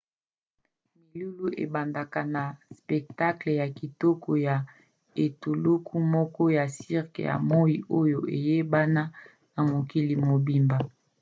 milulu ebandaka na spectacle ya kitoko ya etuluku moko ya cirque ya moi oyo eyebana na mokili mobimba